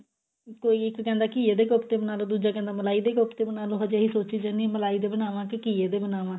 ਕੋਈ ਇੱਕ ਕਿਹੰਦੇ ਘੀਏ ਦੇ ਕੋਫਤੇ ਬਣਾ ਲਓ ਦੂਜਾ ਕਿਹੰਦੇ ਮਲਾਈ ਦੇ ਕੋਫਤੇ ਬਣਾ ਲਓ ਹਜੇ ਇਹੀ ਸੋਚੀ ਜਾਂਦੀ ਆ ਕੀ ਮਲਾਈ ਦੇ ਬਨਾਵਾਂ ਕੇ ਘੀਏ ਦੇ ਬਨਾਵਾਂ